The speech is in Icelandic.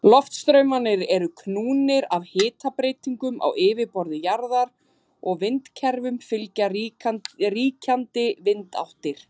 Loftstraumarnir eru knúðir af hitabreytingum á yfirborði jarðar og vindakerfum fylgja ríkjandi vindáttir.